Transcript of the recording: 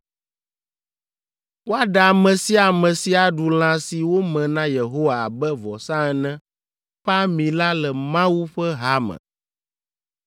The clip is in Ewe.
Woaɖe ame sia ame si aɖu lã si wome na Yehowa abe vɔsa ene ƒe ami la le Mawu ƒe ha me.